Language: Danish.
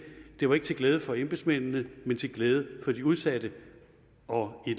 det var ikke til glæde for embedsmændene men til glæde for de udsatte og i